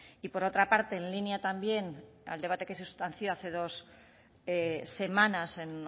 y por otra parte en línea también al debate que se sustanció hace dos semanas en